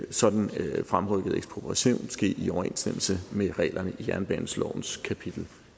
en sådan fremrykket ekspropriation ske i overensstemmelse med reglerne i jernbanelovens kapitel